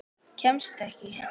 Kemst ekkert.